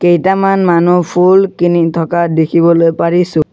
কেইটামান মানুহ ফুল কিনি থকা দেখিবলৈ পাৰিছোঁ।